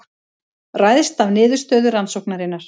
Ræðst af niðurstöðu rannsóknarinnar